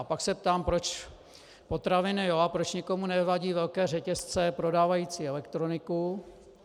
A pak se ptám, proč potraviny jo, a proč někomu nevadí velké řetězce prodávající elektroniku.